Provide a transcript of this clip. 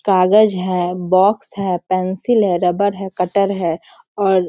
कागज हैं बॉक्स हैं पेंसिल हैं रबर हैं कटर हैं और --